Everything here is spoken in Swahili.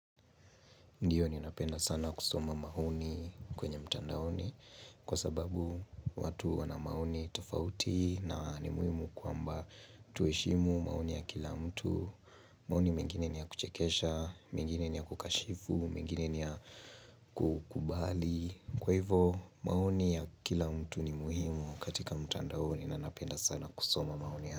Ndiyo ninapenda sana kusoma maoni kwenye mtandaoni kwa sababu watu wana maoni tofauti na ni muhimu kwamba tuheshimu maoni ya kila mtu. Maoni mengine ni ya kuchekesha, mengine ni ya kukashifu, mengine ni ya kukubali. Kwa hivo maoni ya kila mtu ni muhimu katika mtandaoni na napenda sana kusoma maoni ya.